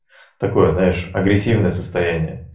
такое знаешь агрессивное состояние